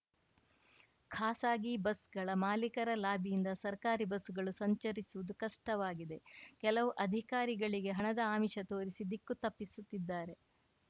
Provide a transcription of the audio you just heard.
ಖಾಸಗಿ ಬಸ್‌ಗಳ ಮಾಲೀಕರ ಲಾಬಿಯಿಂದ ಸರ್ಕಾರಿ ಬಸ್‌ಗಳು ಸಂಚರಿಸುವುದು ಕಷ್ಟವಾಗಿದೆ ಕೆಲವು ಅಧಿಕಾರಿಗಳಿಗೆ ಹಣದ ಆಮೀಷ ತೋರಿಸಿ ದಿಕ್ಕು ತಪ್ಪಿಸುತ್ತಿದ್ದಾರೆ